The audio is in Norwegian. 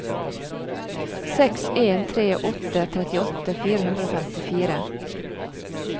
seks en tre åtte trettiåtte fire hundre og femtifire